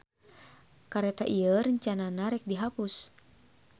Kareta ieu rencanana rek dihapus.